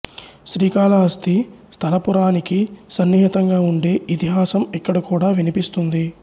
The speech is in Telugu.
ఆ శ్రీకాళహస్తి స్థలపురాణానికి సన్నిహితంగా ఉండే ఇతిహాసం ఇక్కడ కూడా వినిపిస్తుంది